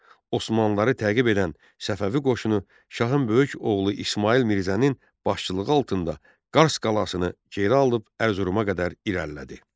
Osmanlıları təqib edən Səfəvi qoşunu şahın böyük oğlu İsmayıl Mirzənin başçılığı altında Qars qalasını geri alıb Ərzuruma qədər irəlilədi.